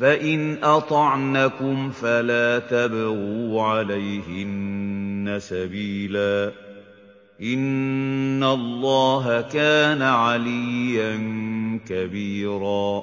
فَإِنْ أَطَعْنَكُمْ فَلَا تَبْغُوا عَلَيْهِنَّ سَبِيلًا ۗ إِنَّ اللَّهَ كَانَ عَلِيًّا كَبِيرًا